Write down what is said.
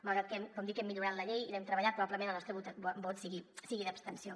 malgrat que com dic hem millorat la llei i l’hem treballat probablement el nostre vot sigui d’abstenció